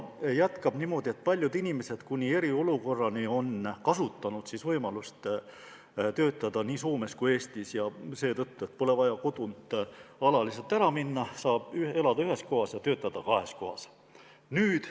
Ta lisas, et paljud inimesed on kasutanud enne eriolukorda võimalust töötada nii Soomes kui Eestis, ja seda just seetõttu, et pole vaja kodunt alaliselt ära minna, saab elada ühes kohas ja töötada kahes kohas.